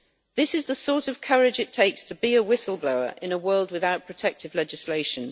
This is the sort of courage it takes to be a whistle blower in a world without protective legislation.